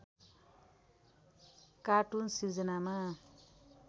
cartoon सिर्जनामा